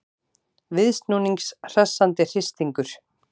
Viðsnúnings hressandi hristingur